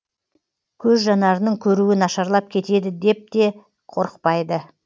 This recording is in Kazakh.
көз жанарының көруі нашарлап кетеді деп те қорықпайды